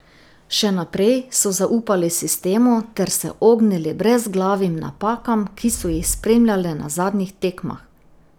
Še naprej so zaupali sistemu ter se ognili brezglavim napakam, ki so jih spremljale na zadnjih tekmah.